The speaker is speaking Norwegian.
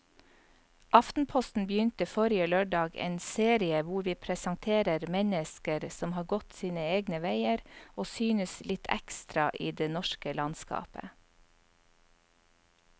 Aftenposten begynte forrige lørdag en serie hvor vi presenterer mennesker som har gått sine egne veier og synes litt ekstra i det norske landskapet.